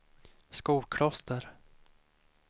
Skokloster